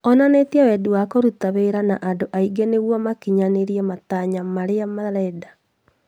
Onanie wendi wa kũruta wĩra na andũ angĩ nĩguo makinyanĩrie matanya marĩa marenda